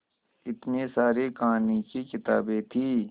इतनी सारी कहानी की किताबें थीं